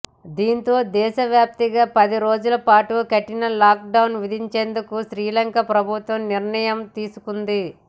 దీంతో దేశవ్యాప్తంగా పదిరోజుల పాటు కఠిన లాక్ డౌన్ విధించేందుకు శ్రీలంక ప్రభుత్వం నిర్ణయం తీసుకుంది